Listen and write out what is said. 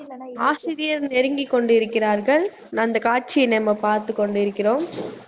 ஆசிரியர் நெருங்கி கொண்டு இருக்கிறார்கள் அந்த காட்சிய நாம பாத்து கொண்டிருக்கிறோம்